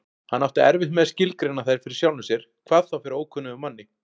Hann átti erfitt með að skilgreina þær fyrir sjálfum sér, hvað þá fyrir ókunnugum manni.